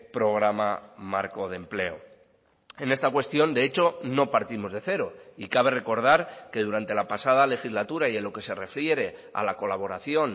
programa marco de empleo en esta cuestión de hecho no partimos de cero y cabe recordar que durante la pasada legislatura y en lo que se refiere a la colaboración